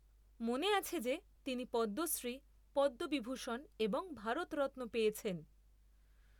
মনে আছে যে তিনি পদ্মশ্রী, পদ্মবিভূষণ এবং ভারত রত্ন পেয়েছেন।